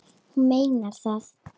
Hún meinar það.